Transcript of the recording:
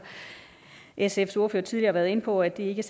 sfs ordfører har tidligere været inde på at det ikke